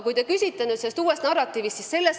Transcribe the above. Te küsisite uue narratiivi kohta.